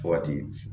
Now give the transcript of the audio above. Waati